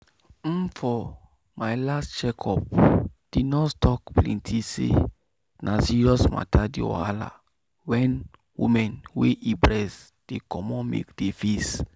umfor my last check up the nurse talk plenty say na serious matter the wahala wen woman wey e breast dey comot milk dey face./